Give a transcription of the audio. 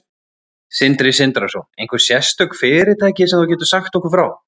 Sindri Sindrason: Einhver sérstök fyrirtæki sem þú getur sagt okkur frá?